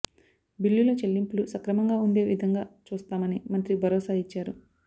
బిల్లుల చెల్లింపులు సక్రమంగా ఉండే విధంగా చూస్తామని మంత్రి భరోసా ఇచ్చారు